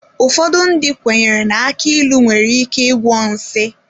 Ụfọdụ ndị kwenyere na aki ilu nwere ike ịgwọ nsi.